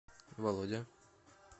володя